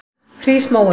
Hrísmóum